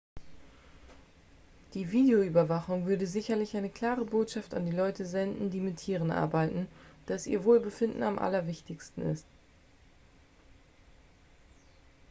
"""die videoüberwachung würde sicherlich eine klare botschaft an die leute senden die mit tieren arbeiten dass ihr wohlbefinden am allerwichtigsten ist.""